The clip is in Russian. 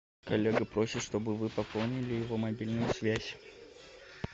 коллега просит чтобы вы пополнили его мобильную связь